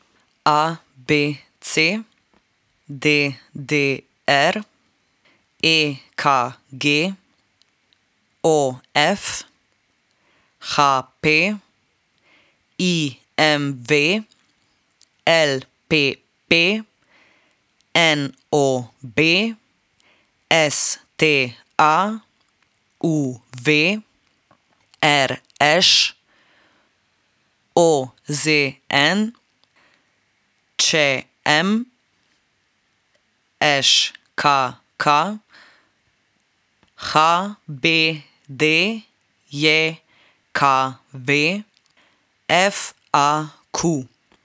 A B C; D D R; E K G; O F; H P; I M V; L P P; N O B; S T A; U V; R Š; O Z N; Č M; Ž K K; H B D J K V; F A Q.